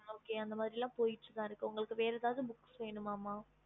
okey அந்தமார்லபோச்சி உங்களுக்கு வேரமாறி book வேணுமா ம